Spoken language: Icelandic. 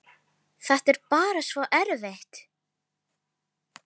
Þetta er bara svo erfitt.